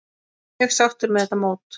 Mjög sáttur með þetta mót.